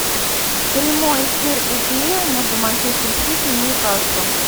прямой эфир апл между манчестер сити и ньюкаслом